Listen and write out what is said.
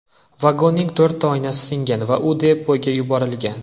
Vagonning to‘rtta oynasi singan va u depoga yuborilgan.